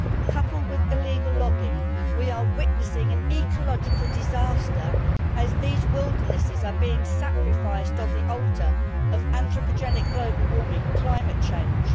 Coupled with illegal logging, we are witnessing an ecological disaster, as these wildernesses are being sacrificed on the altar of anthropogenic global warming climate change.